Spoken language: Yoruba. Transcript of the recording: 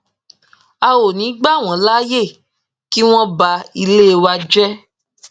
a ò ní í gbà wọn láàyè kí wọn ba ilé wa jẹ